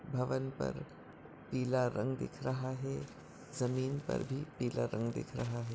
भवन पर पीला रंग दिख रहा है जमीन पर भी पीला रंग दिख रहा है।